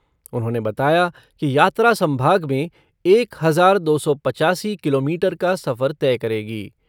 उन्होंने बताया कि यात्रा सम्भाग में एक हजार दो सै पचासी किलोमीटर का सफ़र तय करेगी।